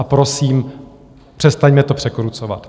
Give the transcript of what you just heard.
A prosím, přestaňme to překrucovat.